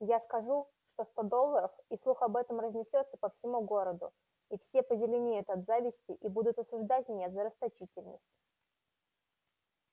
я скажу что сто долларов и слух об этом разнесётся по всему городу и все позеленеют от зависти и будут осуждать меня за расточительность